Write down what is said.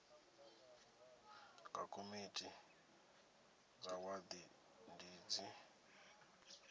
nga komiti dza wadi dzi